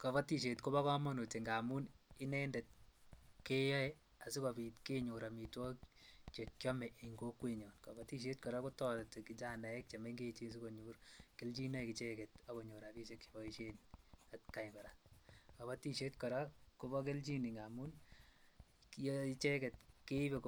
Kobotishet kobokomonut ng'amun inendet keyoe asikobit kenyor amitwokik chekiome en kokwenyon, kobotishet kora kotoreti kijanaek chemeng'echen sikonyor kelchinoik icheket ak konyor rabishek cheboishen atkai kora, kobotishet kora kobo kelchin ng'amun iyoe icheket keibe